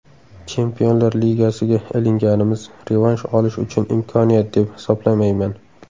Chempionlar ligasiga ilinganimiz revansh olish uchun imkoniyat deb hisoblamayman.